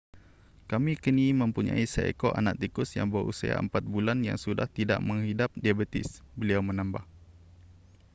kami kini mempunyai seekor anak tikus yang berusia 4 bulan yang sudah tidak menghidap diabetes beliau menambah